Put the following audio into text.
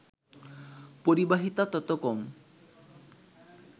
পরিবাহিতা তত কম